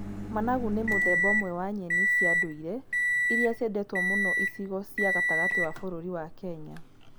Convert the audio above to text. Managu nĩ mũthemba omwe wa nyeni cia ndũire irĩa ciendetwo mũno icigo cia gatagati wa bururi wa Kenya.